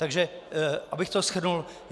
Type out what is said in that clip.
Takže abych to shrnul.